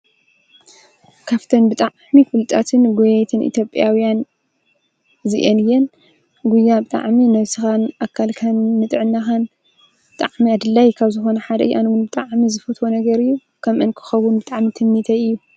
ካብተን ብጣዕሚ ፍሉጣትን ጎየይትን ኢትዮጵያውያን እዚአን እየን። ጉያ ብጣዕሚ ነብስኻን ኣካልካን ንጥዕናኻን ብጣዕሚ ኣድላዪ ካብ ዝኾነ ሓድ እዩ ።ኣነ ኣዉን ብጣዕሚ ዝፈትዎ ነገር እዩ ከምአን ክኸዉን ብጣዕሚ ትምኒትይ እዩ ።